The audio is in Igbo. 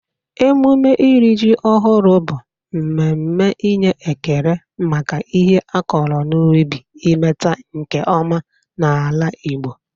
Emume iri ji ọhụrụ bụ mmemme inye ekele maka ihe a kọrọ n'ubi imeta nke ọma n'ala Igbo.